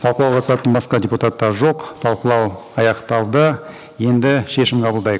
талқылауға қатысатын басқа депутаттар жоқ талқылау аяқталды енді шешім қабылдайық